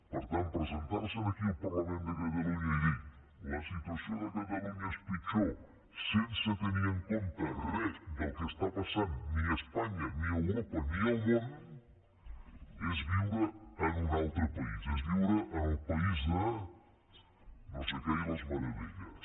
per tant presentar se aquí al parlament de catalunya i dir la situació de catalunya és pitjor sense tenir en compte re del que està passant ni a espanya ni a europa ni al món és viure en un altre país és viure en el país de no sé què i les meravelles